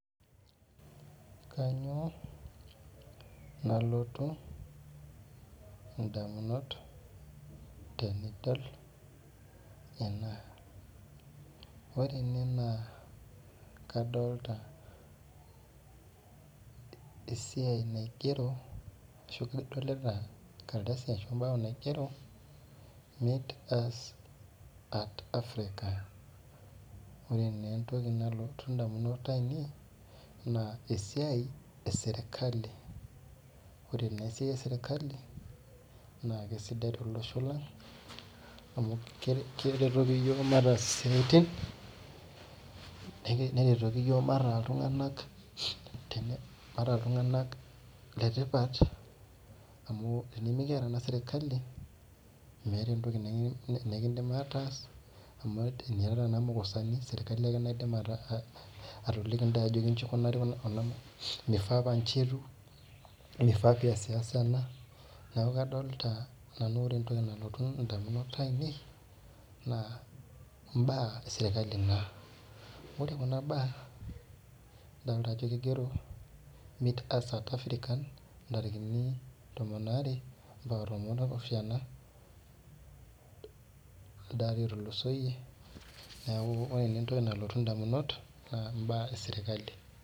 Kanyio nalotu ndamunot tenidol ena ore ene na kadolta esiai naigero meet us at Africa ore na entoki naloti ndamunot ainei na esiai eserkali ore naa esiaia eserkali na kesidai tolosho lang amu keretoki yiok mataas isiatin neretoki yiok mataa ltunganak letipat amu tenimikiata serkali mwwta entoki nikindim ataas amu temekiata serkali meeta entoki nikidim ataas serkali ake naidimbatoliki ntae ajo inji ikunari mifaa paa nji etiu mifaa piasiasa ena neaku kadolta nanu ajo ore entoki nalotu ndamunot ainei na mbaa eserkali naa ore entoki nalotu ndamunot ainei na adolta ajo meet us at Africa ntarikini tomon are ambaka tomon opishanabelde ari otulusoyie neaku ore mbaa eserkali.